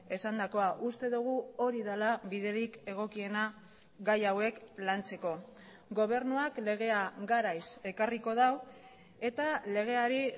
esandakoa uste dugu hori dela biderik egokiena gai hauek lantzeko gobernuak legea garaiz ekarriko du eta legeari